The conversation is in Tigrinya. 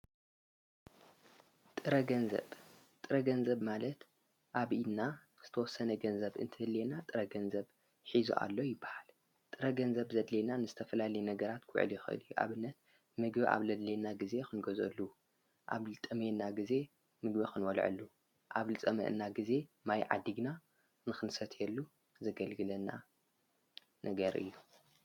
ጥረ ገንዘብ፡- ጥረ ገንዘብ ማለት ኣብ ኢድና ዝተወሰነ ገንዘብ እንትህልየና ጥረ ገንዘብ ሒዙ ኣሎ ይበሃል፡፡ ጥረ ገንዘብ ዘድልየና ንዝተፈላለዩ ነገራት ኲዕል የኸል ኣብነት ምግቢ ኣብ ዘድለየና ጊዜ ንገዝአሉ፣ ኣብ ዝጠመየና ጊዜ ምግቢ ክንበልዐሉ፣ ኣብ ልፀመአና ጊዜ ማይ ዓዲግና ንክንሰትየሉ ዘገልግለና ነገር እዩ፡፡